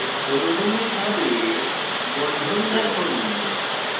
অনুভূমিক ভাবে bond রাখুন